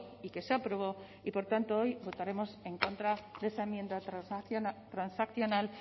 y que se aprobó y por tanto hoy votaremos en contra de esa enmienda transaccional